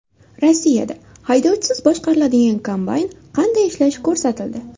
Rossiyada haydovchisiz boshqariladigan kombayn qanday ishlashi ko‘rsatildi .